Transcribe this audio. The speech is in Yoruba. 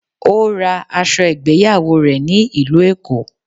Ó ra aṣọ ìgbéyàwó rè ní ìlú Èkó